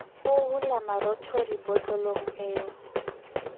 ho hula marothodi botlolong eo